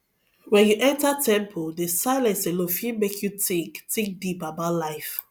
wen you enter temple the silence alone fit make you think think deep about life